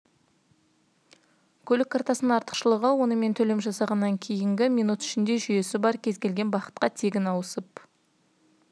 көлік картасының артықшылығы онымен төлем жасағаннан кейінгі минут ішінде жүйесі бар кез келген бағытқа тегін ауысып